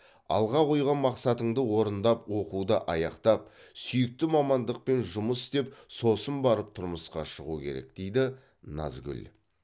алға қойған мақсатыңды орындап оқуды аяқтап сүйікті мамандықпен жұмыс істеп сосын барып тұрмысқа шығу керек дейді назгүл